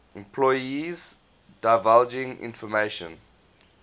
employees divulging information